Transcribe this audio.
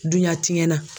Duɲa tiɲɛ na